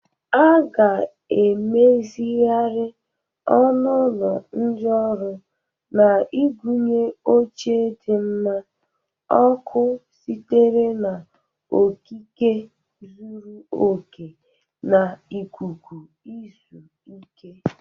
A ga-emezigharị ọnụ ụlọ ndị ọrụ na igụnye oche dị mma, ọkụ sitere n'okike zuru oke, na ikuku izu ike.